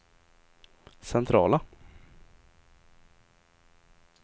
centrala